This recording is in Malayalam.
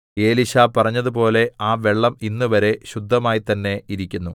എലീശാ പറഞ്ഞതുപോലെ ആ വെള്ളം ഇന്നുവരെ ശുദ്ധമായിത്തന്നേ ഇരിക്കുന്നു